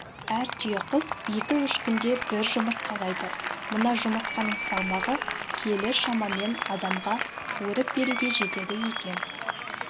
әр түйеқұс екі-үш күнде бір жұмыртқалайды мына жұмыртқаның салмағы келі шамамен адамға қуырып беруге жетеді екен